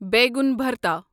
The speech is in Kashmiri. بیگن بھرتا